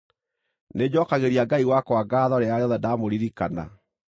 Nĩnjookagĩria Ngai wakwa ngaatho rĩrĩa rĩothe ndaamũririkana.